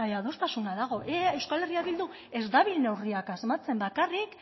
adostasuna dago euskal herria bildu ez dabil neurriak asmatzen bakarrik